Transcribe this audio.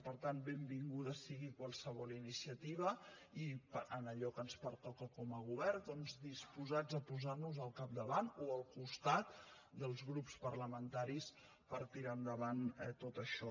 per tant benvinguda sigui qualsevol iniciativa i en allò que ens pertoca com a govern doncs disposats a posar nos al capdavant o al costat dels grups parlamentaris per tirar endavant tot això